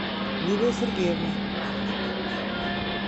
лилия сергеевна